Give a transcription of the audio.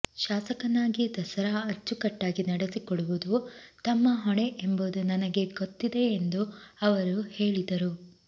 ಶಾಸಕನಾಗಿ ದಸರಾ ಅಚ್ಚುಕಟ್ಟಾಗಿ ನಡೆಸಿಕೊಡುವುದು ತಮ್ಮ ಹೊಣೆ ಎಂಬುದು ನನಗೆ ಗೊತ್ತಿದೆ ಎಂದು ಅವರು ಹೇಳಿದರು